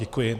Děkuji.